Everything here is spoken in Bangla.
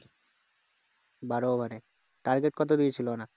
বারো over এ target কত দিয়েছিল ওরা